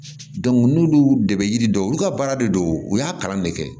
n'olu de bɛ yiri dɔn olu ka baara de don u y'a kalan de kɛ